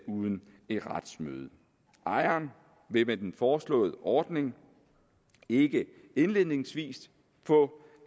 uden et retsmøde ejeren vil med den foreslåede ordning ikke indledningsvis få